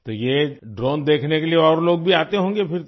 तो ये ड्रोन देखने के लिए और लोग भी आते होंगे फिर तो